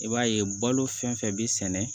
I b'a ye balo fɛn fɛn bi sɛnɛ